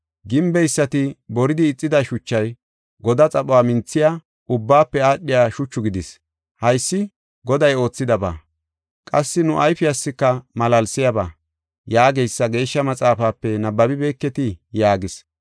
“ ‘Gimbeysati boridi ixida shuchay godaa xaphuwa minthiya, ubbaafe aadhiya shuchu gidis. Haysi Goday oothidaba; qassi nu ayfiyaska malaalsiyaba’ yaageysa Geeshsha Maxaafape nabbabibeketii?” yaagis.